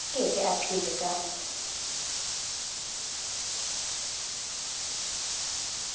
ke ke a phela ka